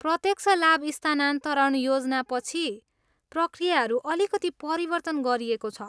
प्रत्यक्ष लाभ स्थानान्तरण योजनापछि, प्रक्रियाहरू अलिकति परिवर्तन गरिएको छ।